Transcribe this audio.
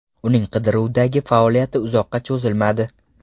Uning qidiruvdagi faoliyati uzoqqa cho‘zilmadi.